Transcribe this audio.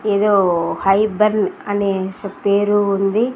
ఏదో hi bun అనే పేరు ఉంది.